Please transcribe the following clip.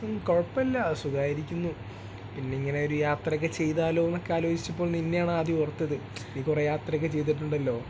സും കുഴപ്പമില്ല സുഖമായിരിക്കുന്നു പിന്നെ ഇങ്ങനെ ഒരു യാത്രയൊക്കെ ചെയ്താലോന്നൊക്കെ ആലോചിച്ചപ്പോൾ നിന്നെയാണ് ആദ്യം ഓർത്തത് നീ കുറേ യാത്ര ഒക്കെ ചെയ്തിട്ടുണ്ടല്ലോ